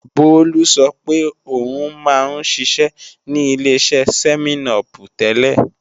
Bólú sọ pé o ń má ń ṣiṣẹ́ ní Ileṣẹ́ sẹ́mẹ́n-upù tẹ́lẹ̀